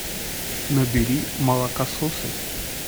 набери молокососы